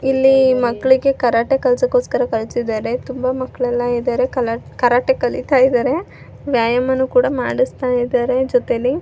ಇಲ್ಲಿ ಮಕ್ಕಳಿಗೆ ಕರಾಟೆ ಕೆಲಸಕೋಸ್ಕರ ಕಲ್ಸಿದ್ದಾರೆ ತುಂಬಾ ಮಕ್ಕಳ ಎಲ್ಲಾ ಇದ್ದಾರೆ ಎಲ್ಲರು ಕರಾಟೆ ಕಲಿತಾ ಇದ್ದಾರೆ ವ್ಯಾಯಾಮನು ಕೂಡಾ ಮಾಡಸ್ತಾ ಇದ್ದಾರೆ. ಜೊತೆಲ್ಲಿ --